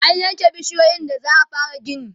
an yanke bishiyoyin da za'a fara gini